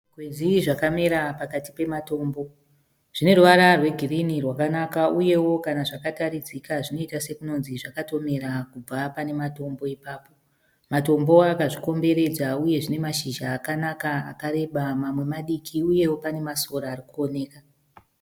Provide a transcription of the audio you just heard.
Zvikwenzi zvakamera pakati pematombo zvine ruvara rwegirini rwakanaka uyewo kana zvakataridzika zvinoita sekunonzi zvakatomera kubva panematombo ipapo. Matombo akazvikomberedza uye zvine mashizha akanaka akareba mamwe madiki uyewo panemasora arikuoneka.